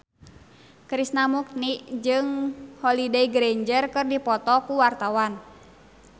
Krishna Mukti jeung Holliday Grainger keur dipoto ku wartawan